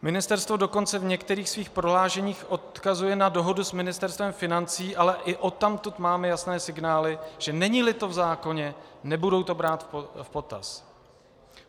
Ministerstvo dokonce v některých svých prohlášeních odkazuje na dohodu s Ministerstvem financí, ale i odtamtud máme jasné signály, že není-li to v zákoně, nebudou to brát v potaz.